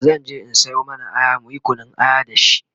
zanje in Sayo mana Aya muyi Kunun aya da shi